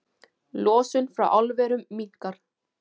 Losun frá álverum minnkar